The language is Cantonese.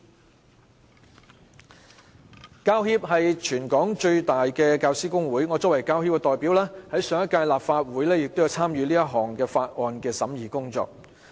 香港教育專業人員協會是全港最大的教師工會，我作為其代表，在上屆立法會亦有參與《2016年條例草案》的審議工作。